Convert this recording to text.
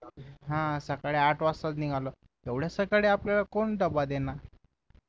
हा सकाळी आठ वाजताच निघालो एवढ्या सकाळी आपल्याला कोण डब्बा देणार